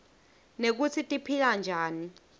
nekutsi tiphila njani